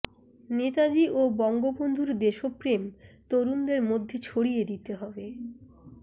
নেতাজি ও বঙ্গবন্ধুর দেশপ্রেম তরুণদের মধ্যে ছড়িয়ে দিতে হবে